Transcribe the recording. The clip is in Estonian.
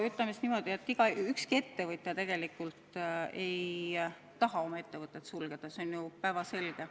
No ütleme niimoodi, et ükski ettevõtja tegelikult ei taha oma ettevõtet sulgeda, see on ju päevselge.